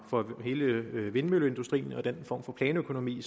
for hele vindmølleindustrien og den form for planøkonomi